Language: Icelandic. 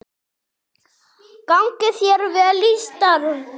Gangi þér vel í starfi.